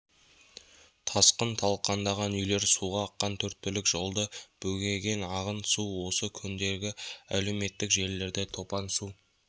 тасқын талқандаған үйлер суға аққан төрт-түлік жолды бөгеген ағын су осы күндері әлеуметтік желілерде топан су